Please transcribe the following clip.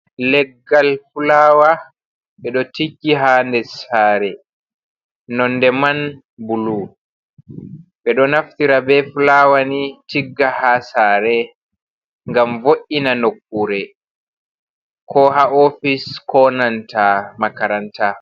Leggal fulawa ɓe ɗo tiggi ha nder sare nonde man bulu, ɓe ɗo naftira ɓe fulawa ni tigga ha sare ngam vo’’ina nokkure ko ha ofis ko nanta makaranta.